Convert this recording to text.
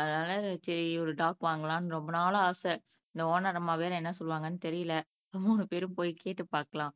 அதுனால சரி ஒரு டாக் வாங்கலாம்னு ரொம்ப நாளா ஆசை இந்த ஒனர் அம்மா வேற என்ன சொல்லுவாங்கன்னு தெரியல